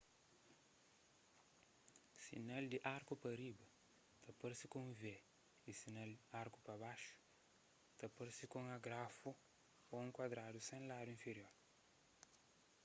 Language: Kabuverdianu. sinal di arku pa riba ta parse ku un v y sinal arku pa baxu ta parse ku un agrafu ô un kuadradu sen se ladu infirior